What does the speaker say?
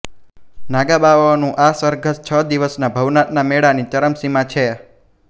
નાગાબાવાઓનું આ સરઘસ છ દિવસનાં ભવનાથનાં મેળાની ચરમસીમા છે